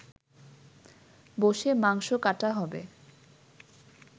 বসে মাংস কাটা হবে